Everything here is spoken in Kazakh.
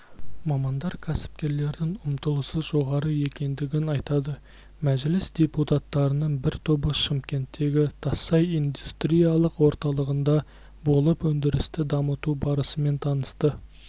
мамандар кәсіпкерлердің ұмтылысы жоғары екендігін айтады мәжіліс депутаттарының бір тобы шымкенттегі тассай индустриялық орталығында болып өндірісті дамыту барысымен танысты